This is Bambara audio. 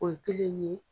O ye kelen ye